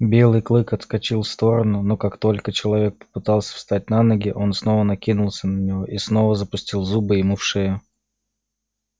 белый клык отскочил в сторону но как только человек попытался встать на ноги он снова накинулся на него и снова запустил зубы ему в шею